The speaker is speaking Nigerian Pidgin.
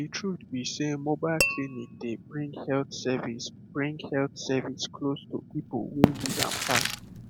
the truth be sey mobile clinic dey bring health service bring health service close to people wey need am pass